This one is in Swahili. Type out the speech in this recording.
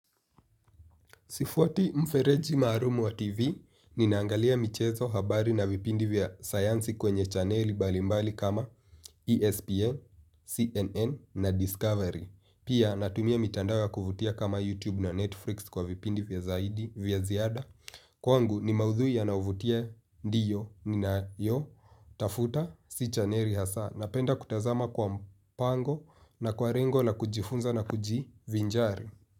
Sifuati mfereji maalum wa TV, ninaangalia michezo habari na vipindi vya sayansi kwenye chaneli mbalimbali kama ESPN, CNN na Discovery. Pia natumia mitandao ya kuvutia kama YouTube na Netflix kwa vipindi vya zaidi, vya ziada. Kwangu ni maudhui yanaovutia ndiyo ninayotafuta si chaneli hasa napenda kutazama kwa mpango na kwa lengo la kujifunza na kujivinjari.